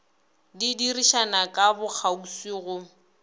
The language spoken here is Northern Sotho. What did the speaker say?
di dirišana ka bokgauswi go